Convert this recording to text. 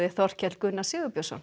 Þorkell Gunnar Sigurbjörnsson